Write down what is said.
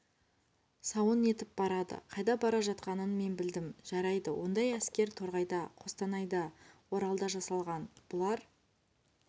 сауын етіп барады қайда бара жатқанын мен білдім жарайды ондай әскер торғайда қостанайда оралда жасалған бұлар